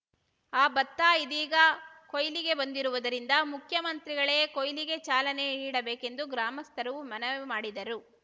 ಆ ಭತ್ತ ಇದೀಗ ಕೊಯ್ಲಿಗೆ ಬಂದಿರುವುದರಿಂದ ಮುಖ್ಯಮಂತ್ರಿಗಳೇ ಕೊಯ್ಲಿಗೆ ಚಾಲನೆ ನೀಡಬೇಕೆಂದು ಗ್ರಾಮಸ್ಥರು ಮನವಿ ಮಾಡಿದರು